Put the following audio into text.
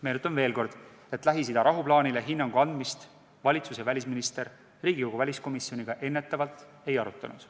Meenutan veel kord, et Lähis-Ida rahuplaanile hinnangu andmist valitsus ja välisminister Riigikogu väliskomisjoniga eelnevalt ei arutanud.